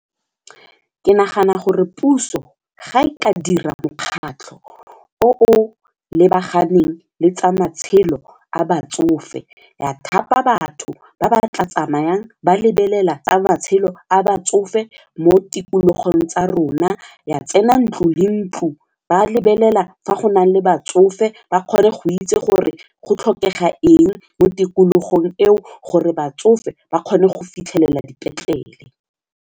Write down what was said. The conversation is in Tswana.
Ke nagana gore puso ga e ka dira mokgatlho o lebaganeng le tsa matshelo a batsofe, ya thapa batho ba ba tla tsamayang ba lebelela tsa matshelo a batsofe mo tikologong tsa rona ya tsena ntlo le ntlo ba lebelela fa go nale batsofe ba kgone go itse gore go tlhokega eng mo tikologong eo gore batsofe ba kgone go fitlhelela dipetlele.